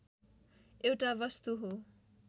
एउटा वस्तु हो